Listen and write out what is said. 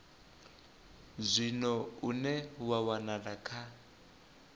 zwino une wa wanala kha